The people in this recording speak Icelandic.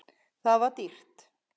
Það var dýrt.